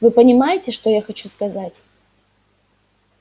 вы понимаете что я хочу сказать